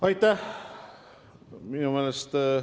Aitäh!